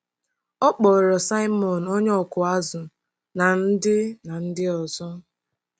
Ọ kpọọrọ Saịmọn onye ọkụ azụ̀ na ndị na ndị ọzọ.